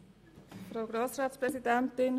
Änderung von Ziffer 2